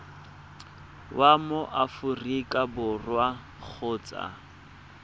wa mo aforika borwa kgotsa